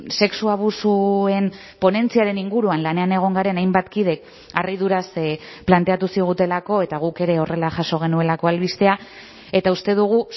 sexu abusuen ponentziaren inguruan lanean egon garen hainbat kidek harriduraz planteatu zigutelako eta guk ere horrela jaso genuelako albistea eta uste dugu